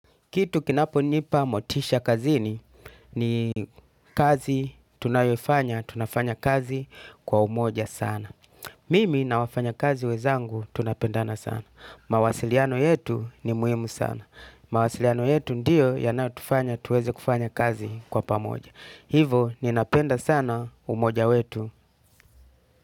Kitu kinaponipa motisha kazini ni kazi tunayoifanya, tunafanya kazi kwa umoja sana. Mimi na wafanya kazi wezangu tunapendana sana. Mawasiliano yetu ni muhimu sana. Mawasiliano yetu ndiyo yanayotufanya tuweze kufanya kazi kwa pamoja. Hivo ninapenda sana umoja wetu.